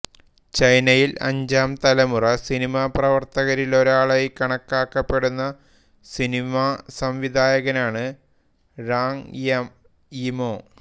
ചൈനയിൽ അഞ്ചാം തലമുറ സിനിമപ്രവർത്തകരിലൊരാളായി കണക്കാക്കപ്പെടുന്ന സിനിമ സംവിധായകനാണ് ഴാങ് യിമോ